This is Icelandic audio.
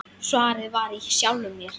Svarið var í sjálfum mér.